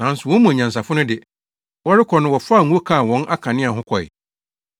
Nanso wɔn mu anyansafo no de, wɔrekɔ no wɔfaa ngo kaa wɔn akanea ho kɔe.